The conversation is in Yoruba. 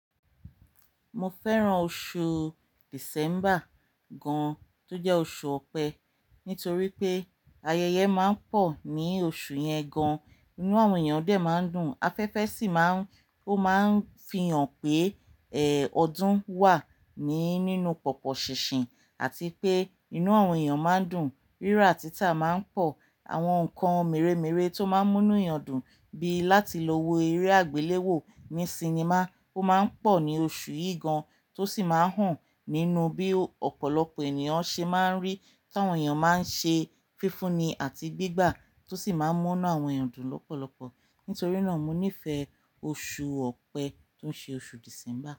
Mo fẹ́ràn oṣù December gan, tó jẹ́ oṣù ọ̀pẹ, nítorí pé ayẹyẹ máa ń pọ̀ ní oṣù yẹn gan. Inú àwọn èèyàn dè máa ń dùn, afẹ́fẹ́ sì má ń, ó máa ń fi hàn pé, ẹ, ọdún wà ní nínú pọ̀pọ̀ ṣinṣin àti pé inú àwọn èèyàn má ń dùn. Rírà títà máa ń pọ̀, àwọn nǹkan mèremère tó máa ń múnú èèyàn dùn bí láti lọ wo eré àgbéléwò ní sinimá ó máa ń pọ̀ ní oṣù yìí gan, tó sì máa n han nínú bí ọ̀pọ̀lọpọ̀ ènìyàn ṣe máa ń rí tí àwọn èèyàn máa ń ṣe fífúnni àti gbígbà tó sì máa ń múnú àwọn èèyàn dùn lọ́pọ̀lọpọ̀. Nítorí náà mo nífẹ̀ẹ́ oṣù ọ̀pẹ tó ṣe oṣù December.